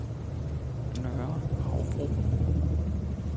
Nørre Havbro